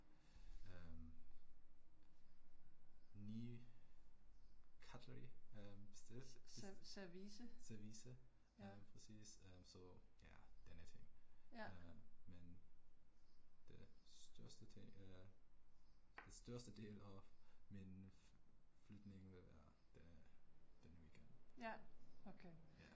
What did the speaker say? Øh 9 cutlery? Service, øh præcis øh så, denne ting, men den største ting eller det største del af min flytning vil være denne weekend